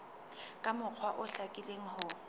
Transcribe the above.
ka mokgwa o hlakileng ho